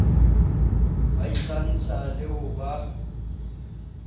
ba ikgantsha le ho ba